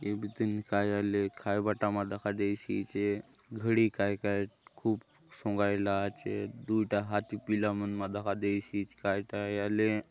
ये बीतिन काय आय आले खायबा टा मा दखा देयसि आचे घड़ी काय के आय खूब सोंगायला आचे दूय टा हाथी पिला मा दखा देयसि आचे काय टा आय आले --